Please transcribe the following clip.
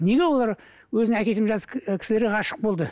неге олар өзінің әкесімен жасты кісілерге ғашық болды